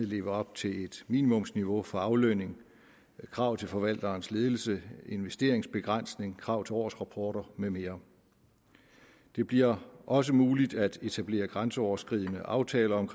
leve op til et minimumsniveau for aflønning kravet til forvalterens ledelse investeringsbegrænsning krav til årsrapporter med mere det bliver også muligt at etablere grænseoverskridende aftaler om